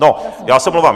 No, já se omlouvám.